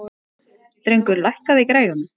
Drengur, lækkaðu í græjunum.